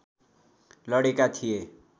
लडेका थिए